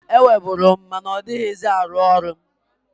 Enweburu m, ma na ọdịghịzị arụ ọrụ.